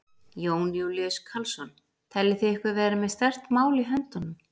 Jón Júlíus Karlsson: Teljið þið ykkur vera með sterkt mál í höndunum?